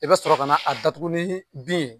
I bɛ sɔrɔ ka na a datugu ni bin ye